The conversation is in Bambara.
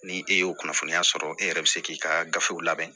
Ni e y'o kunnafoniya sɔrɔ e yɛrɛ bɛ se k'i ka gafew labɛn